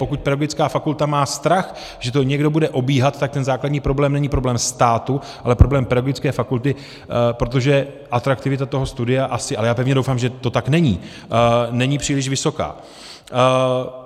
Pokud pedagogická fakulta má strach, že to někdo bude obíhat, tak ten základní problém není problém státu, ale problém pedagogické fakulty, protože atraktivita toho studia asi - ale já pevně doufám, že to tak není - není příliš vysoká.